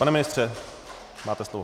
Pane ministře, máte slovo.